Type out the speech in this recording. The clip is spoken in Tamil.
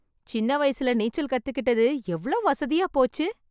சின்ன வயசுல நீச்சல் கத்துக்கிட்டது எவ்ளோ வசதியா போச்சு.